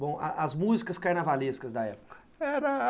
Bom, as músicas carnavalescas da época. Era